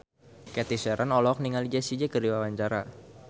Cathy Sharon olohok ningali Jessie J keur diwawancara